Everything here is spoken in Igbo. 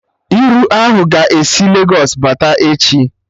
Iru ahụ ga-esi Legos bata echi